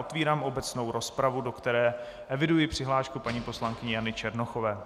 Otevírám obecnou rozpravu, do které eviduji přihlášku paní poslankyně Jany Černochové.